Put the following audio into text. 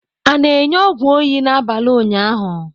A na-enye ọgwụ oyi n'abalị ụnyaahụ?